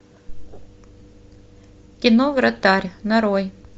кино вратарь нарой